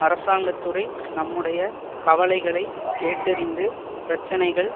அரசாங்க துறை நம்முடைய கவலைகளைக் கேட்டறிந்து பிரச்சினைகள்